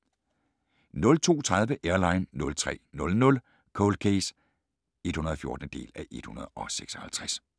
02:30: Airline 03:00: Cold Case (114:156)